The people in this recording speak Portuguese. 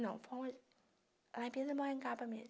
Não, foi um... Lá em pindamonhangaba mesmo.